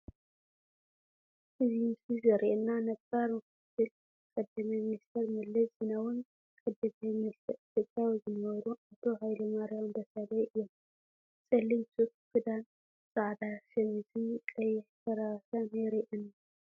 እዚ ምስሊ ዘሪአና ነባር ምኽትል 1ይ ሚኒስተር መለስ ዜናዊን 1ይ ሚኒስተርን ኢትዮጵያ ዝነበሩ ኣቶ ሃይለማሪያም ደሳለይ እዮም። ጸሊም ሱፍ ክዳን ጻዕዳ ሸሚዝን ቀይሕ ከራባታን የሪአና